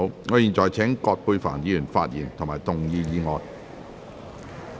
我現在請葛珮帆議員發言及動議議案。